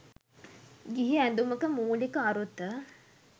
ගිහි ඇඳුමක මූලික අරුත